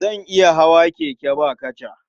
Zan iya hawa keke ba kaca.